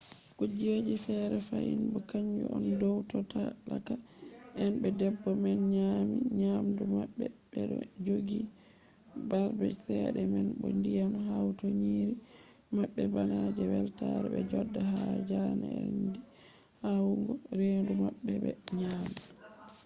kuje fere fahin bo kanju on dow to talaka en be debbo man nyami nyamdu maɓɓe ɓeɗo joɗi marɓe cede man bo yiɗan hauta nyiiri maɓɓe bana je weltare ɓe joɗa ha jarendi yahugo hendu maɓɓe ɓe nyama